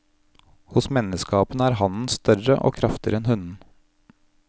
Hos menneskeapene er hannen større og kraftigere enn hunnen.